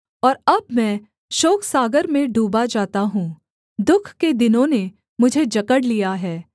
और अब मैं शोकसागर में डूबा जाता हूँ दुःख के दिनों ने मुझे जकड़ लिया है